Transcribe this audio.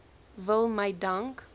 wil my dank